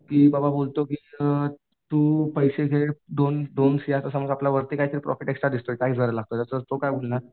की बाबा बोलतो की अ तू पैसे घे दोन दोन शे आता समजा आपला वरती काहीतरी प्रॉफिट एक्स्ट्रा दिसतोय टॅक्स भरायला लागतो तर तो काय म्हणणार